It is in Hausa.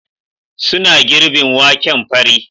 Suna girbin waken fari